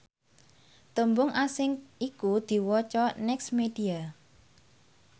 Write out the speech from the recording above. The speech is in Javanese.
tembung asing iku diwaca nexmedia